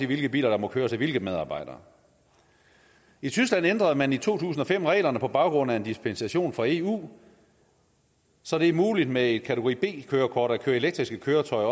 hvilke biler der må køres af hvilke medarbejdere i tyskland ændrede man i to tusind og fem reglerne på baggrund af en dispensation fra eu så det er muligt med et kategori b kørekort at føre elektriske køretøjer